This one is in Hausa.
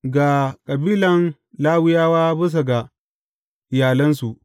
Ga kabilan Lawiyawa bisa ga iyalansu.